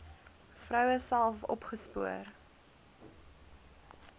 vroue self opgespoor